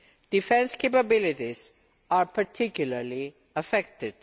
Defence capabilities are particularly affected.